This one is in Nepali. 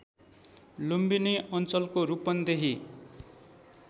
लुम्बिनी अञ्चलको रूपन्देही